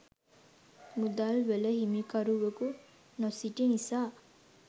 මුදල් වල හිමිකරුවකු නොසිටි නිසා